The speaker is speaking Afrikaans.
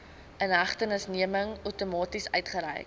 inhegtenisneming outomaties uitgereik